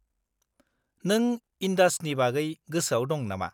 -नों इन्डासनि बागै गोसोआव दं नामा?